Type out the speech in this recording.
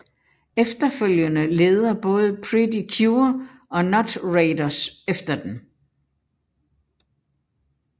Efterfølgende leder både Pretty Cure og Notraiders efter dem